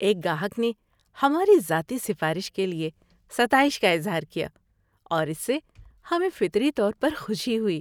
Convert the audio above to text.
ایک گاہک نے ہماری ذاتی سفارش کے لیے ستائش کا اظہار کیا اور اس سے ہمیں فطری طور پر خوشی ہوئی۔